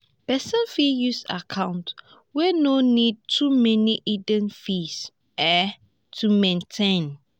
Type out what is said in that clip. person fit use account wey no need too many hidden fees um to maintain